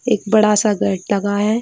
एक बड़ा सा गेट लगा है ।